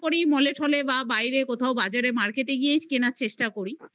করি mall টলে বা বাইরে কোথাও বাজারে market গিয়েই কেনার চেষ্টা করি